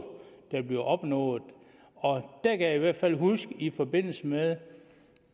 der bliver opnået og der kan jeg i hvert fald huske at i forbindelse med